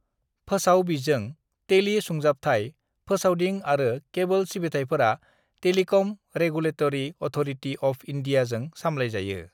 "फोसाव बिजों, टेली सुंजाबथाय, फोसावदिं आरो केबोल सिबिथायफोरा टेलिकम रेगुलेतरी अथ'रिटी अफ इन्डीयाजों सामलायजायो।"